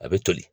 A bɛ toli